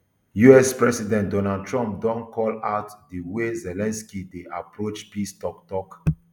us president donald trump don call out di way zelensky dey approach peace toktok